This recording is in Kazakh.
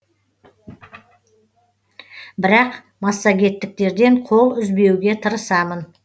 бірақ массагеттіктерден қол үзбеуге тырысамын